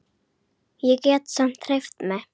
Ég get samt hreyft mig.